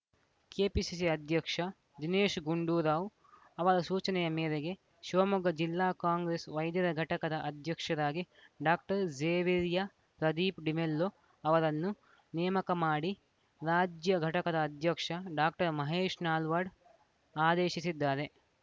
KPCC ಅಧ್ಯಕ್ಷ ದಿನೇಶ್‌ ಗುಂಡೂರಾವ್‌ ಅವರ ಸೂಚನೆಯ ಮೇರೆಗೆ ಶಿವಮೊಗ್ಗ ಜಿಲ್ಲಾ ಕಾಂಗ್ರೆಸ್‌ ವೈದ್ಯರ ಘಟಕದ ಅಧ್ಯಕ್ಷರಾಗಿ ಡಾಕ್ಟರ್ ಝೆವೆಯರ್‌ ಪ್ರದೀಪ್‌ ಡಿಮೆಲ್ಲೊ ಅವರನ್ನು ನೇಮಕ ಮಾಡಿ ರಾಜ್ಯ ಘಟಕದ ಅಧ್ಯಕ್ಷ ಡಾಕ್ಟರ್ ಮಹೇಶ್‌ ನಲ್ವಾಡ್‌ ಆದೇಶಿಸಿದ್ದಾರೆ